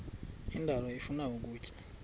indalo ifuna ukutya